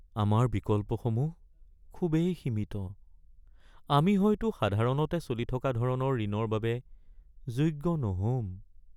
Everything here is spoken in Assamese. আমাৰ বিকল্পসমূহ খুবেই সীমিত! আমি হয়তো সাধাৰণতে চলি থকা ধৰণৰ ঋণৰ বাবে যোগ্য নহ’ম।